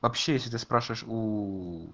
вообще если ты спрашиваешь у